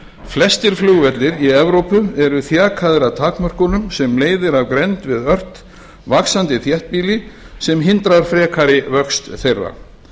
flestir flugvellir í evrópu eru þjakaðir af takmörkunum sem leiðir af grennd við ört vaxandi þéttbýli sem hindrar frekari vöxt þeirra